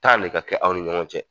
ne ka kɛ aw ni ɲɔgɔn cɛ.